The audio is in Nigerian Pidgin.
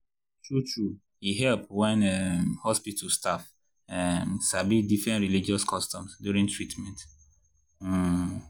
true-true e help wen um hospital staff um sabi different religious customs during treatment. um